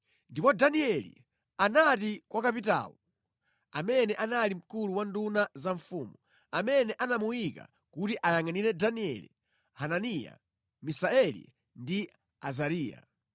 Ndipo Danieli anati kwa kapitawo amene anali mkulu wa nduna za mfumu amene anamuyika kuti ayangʼanire Danieli, Hananiya, Misaeli ndi Azariya,